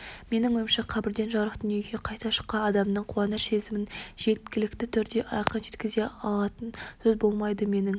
менің ойымша қабірден жарық дүниеге қайта шыққан адамның қуаныш сезімін жеткілікті түрде айқын жеткізе алатын сөз болмайды менің